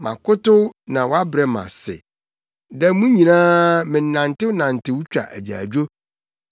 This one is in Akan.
Makotow na wɔabrɛ me ase; da mu nyinaa menantenantew twa agyaadwo.